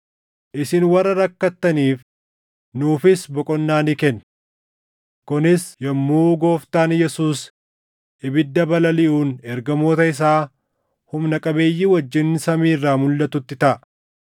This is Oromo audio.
isin warra rakkattaniif, nuufis boqonnaa ni kenna. Kunis yommuu Gooftaan Yesuus ibidda balaliʼuun ergamoota isaa humna qabeeyyii wajjin samii irraa mulʼatutti taʼa.